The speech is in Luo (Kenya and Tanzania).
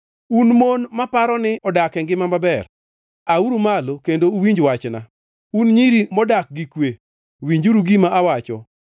Un mon maparo ni odak e ngima maber, auru malo kendo uwinj wachna, un nyiri modak gi kwe, winjuru gima awacho!